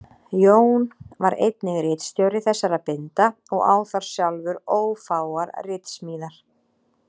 Jón var einnig ritstjóri þessara binda og á þar sjálfur ófáar ritsmíðar.